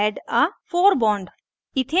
और add a fore bond